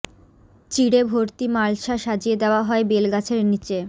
চিড়ে ভর্তি মালসা সাজিয়ে দেওয়া হয় বেল গাছের নীচে